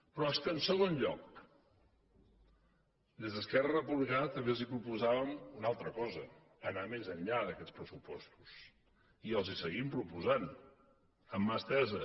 però és que en segon lloc des d’esquerra republicana també els proposàvem una altra cosa anar més enllà d’aquests pressupostos i els ho seguim proposant amb mà estesa